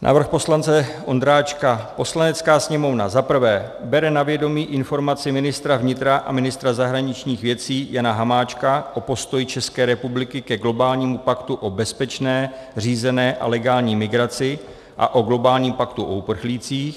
Návrh poslance Ondráčka: "Poslanecká sněmovna za prvé bere na vědomí informaci ministra vnitra a ministra zahraničních věcí Jana Hamáčka o postoji České republiky ke globálnímu paktu o bezpečné, řízené a legální migraci a o globálním paktu o uprchlících.